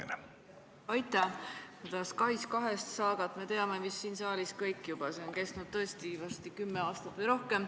Seda SKAIS2 saagat me teame siin saalis vist kõik, see on kestnud tõesti varsti kümme aastat või rohkem.